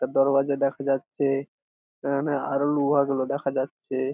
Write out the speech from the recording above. একটা দরওয়াজা দেখা যাচ্ছে এখানে আর ও লোহা গুলো দেখা যাচ্ছে।